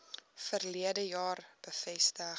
verlede jaar bevestig